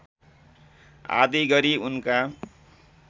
आदि गरी उनका